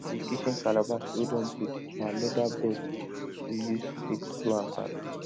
di kitchen calabash wey don break na leather belt we use take do am back